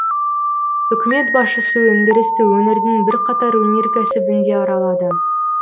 үкімет басшысы өңдірісті өңірдің бірқатар өнеркәсібін де аралады